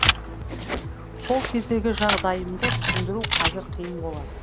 сол кездегі жағдайымды түсіндіру қазір қиын болар